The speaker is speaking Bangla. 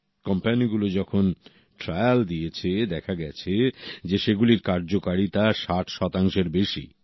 কোম্পানি গুলো যখন ট্রায়াল দিয়েছে দেখা গেছে যে সেগুলির কার্যকারিতা ৬০ এর বেশি